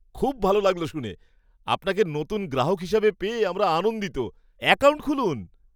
খুব ভালো লাগল শুনে! আপনাকে নতুন গ্রাহক হিসেবে পেয়ে আমরা আনন্দিত। অ্যাকাউন্ট খুলুন